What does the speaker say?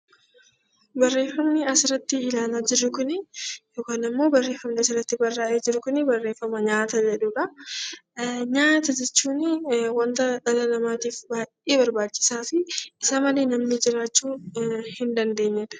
Barreeffamnu as irratti ilaalaa jirru kuni yookaan immoo barreeffamni as irratti barraa'ee jiru kuni barreeffama "Nyaata" jedhu dha. Nyaata jechuun wanta dhala namaatiif baay'ee barbaachisaa fi isa malee namni jiraachuu hin dandeenye dha.